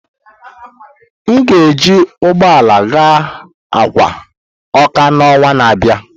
M ga-eji ụgbọ ala gaa Akwa na ọnwa na-abịa.